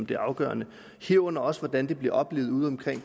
det afgørende herunder også hvordan det bliver oplevet ude omkring